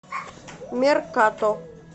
меркато